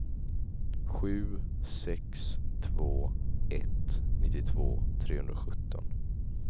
sju sex två ett nittiotvå trehundrasjutton